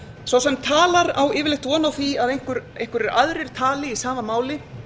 sá sem talar á yfirleitt von á því að einhverjir aðrir tali í sama máli